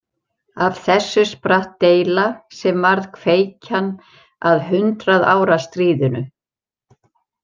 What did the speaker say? Af þessu spratt deila sem varð kveikjan að Hundrað ára stríðinu.